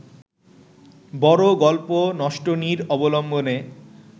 বড় গল্প নষ্টনীড় অবলম্বনে